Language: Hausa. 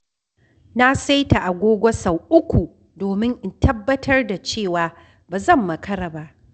Na saita agogo sau uku domin in tabbatar da cewa ba zan makara ba.